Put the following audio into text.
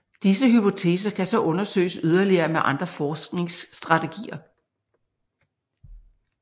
Disse hypoteser kan så undersøges yderligere med andre forskningsstrategier